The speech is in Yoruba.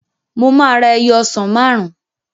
Mo máa ra ẹyọ ọsàn máàrún